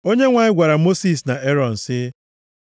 Onyenwe anyị gwara Mosis na Erọn, sị,